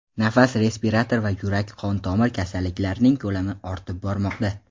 nafas respirator va yurak-qon tomir kasalliklarining ko‘lami ortib bormoqda.